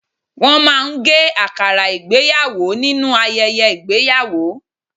Wọ́n máa ń gé àkàrà ìgbéyàwò nínú ayẹyẹ ìgbéyàwó